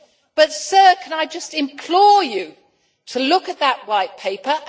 But, sir, can I just implore you to look at that White Paper?